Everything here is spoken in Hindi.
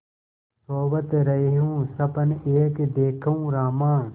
सोवत रहेउँ सपन एक देखेउँ रामा